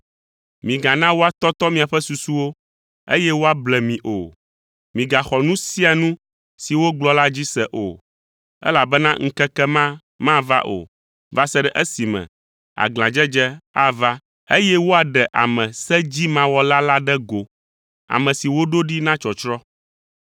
Migana woatɔtɔ miaƒe susuwo, eye woable mi o; migaxɔ nu sia nu si wogblɔ la dzi se o, elabena ŋkeke ma mava o, va se ɖe esime aglãdzedze ava eye woaɖe ame sedzimawɔla la ɖe go, ame si woɖo ɖi na tsɔtsrɔ̃.